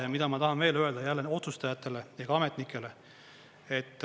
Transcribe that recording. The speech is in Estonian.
Ja mida ma tahan veel öelda otsustajatele, ka ametnikele?